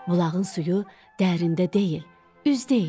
Bulağın suyu dərində deyil, üzdə idi.